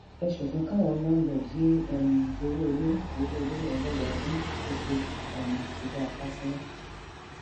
ẹ ṣòfin káwọn láńlọọdù yéé um gbowó ilé gbowó ilé lọdọọdún oṣooṣù um ti dáa fásilà